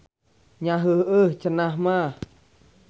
Nya heuheuh cenah mah.